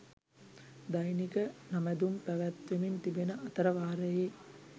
දෛනික නැමැදුම් පැවැත්වෙමින් තිබෙන අතර වාරයේ